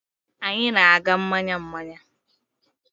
Anyị na-aga mmanya mmanya?